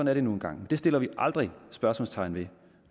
er det nu engang det sætter vi aldrig spørgsmålstegn ved